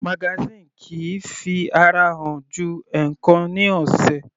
Magazine kìí fi ara hàn ju ẹ̀ẹ̀kan ní ọ̀sẹ̀.